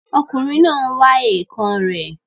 Ọkùnrin náà n wá èèkàn rẹ̀